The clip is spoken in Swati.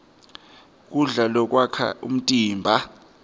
kudla lokwakha umtimba